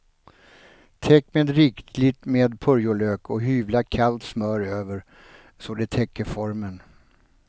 Täck med rikligt med purjolök och hyvla kallt smör över så det täcker formen.